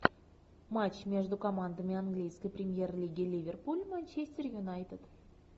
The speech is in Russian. матч между командами английской премьер лиги ливерпуль манчестер юнайтед